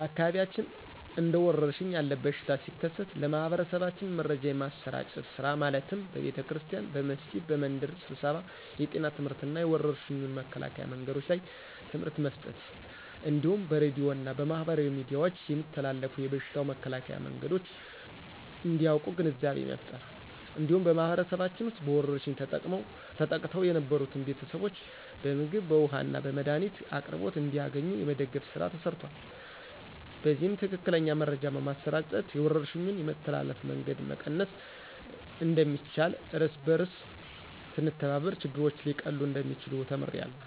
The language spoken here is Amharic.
በአካባቢያችን እንደ ወረርሽን ያለ በሽታ ሲከሰት ለማህበረሰባችን መረጃ የማሰራጨት ስራ ማለትም በቤተክርስቲያን፣ በመስጊድ፣ በመንደር ስብሰባ የጤና ትምህርትና የወረርሽኙን መከላከያ መንገዶች ላይ ትምህርት መስጠት እንዲሁም በሬድዮ እና በማህበራዊ ሚዲያዎች የሚተላለፉ የበሽታው መከላከያ መንገዶች እንዲያቁ ግንዛቤ መፍጠር። እንዲሁም በማህበረሰባችን ውስጥ በወረርሽኝ ተጠቅተው የነበሩትን ቤተሰቦች በምግብ፣ በውሀ እና የመድኃኒት አቅርቦት እንዲያገኙ የመደገፍ ስራ ተሰርቷል። በዚህም ትክክለኛ መረጃ በማሰራጨት የወረርሽኙን የመተላለፍ መንገድ መቀነስ እንደሚቻልና እርስ በእርስ ስንተባበር ችግሮች ሊቀሉ እንደሚችሉ ተምሬያለሁ።